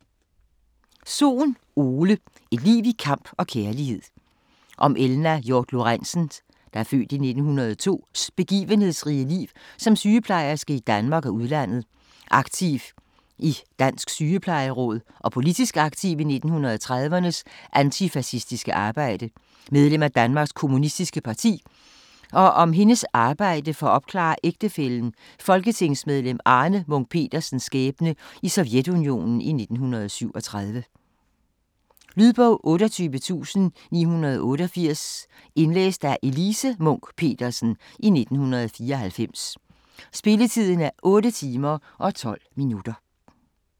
Sohn, Ole: Et liv i kamp og kærlighed Om Elna Hiort-Lorenzens (f. 1902) begivenhedsrige liv som sygeplejerske i Danmark og udlandet, aktiv i Dansk Sygeplejeråd og politisk aktiv i 1930'ernes antifascistiske arbejde, medlem af Danmarks Kommunistiske Parti og om hendes arbejde for at opklare ægtefællen, folketingsmedlem Arne Munch-Petersens skæbne i Sovjetunionen i 1937. Lydbog 28988 Indlæst af Elise Munch-Petersen, 1994. Spilletid: 8 timer, 12 minutter.